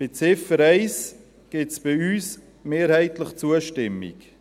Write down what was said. Für die Ziffer 1 gibt es von uns mehrheitlich Zustimmung;